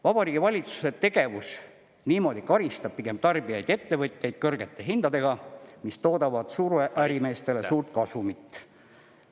Vabariigi Valitsuse tegevus niimoodi karistab pigem tarbijaid ja ettevõtjaid kõrgete hindadega, mis toodavad suurärimeestele suurt kasumit.